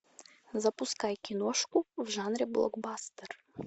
запускай киношку в жанре блокбастер